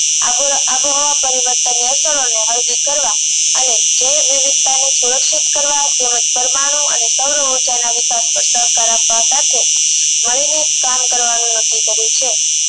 આબુ આબુહાવ પરિવર્તન ની અસરો ને હલકી કરવા અને જે વિવિધતા ને સુરક્ષિત કરવા તેમજ પરમાણુ અને સૌરવ ઉર્જાના વિકાસ માં સહકાર આપવા સાથે મળી ને જ કામ કરવાનું નક્કી કર્યું છે